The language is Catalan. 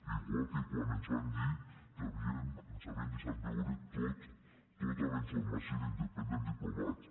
igual que quan ens van dir que ens havien deixat veure tota la informació d’independent diplomat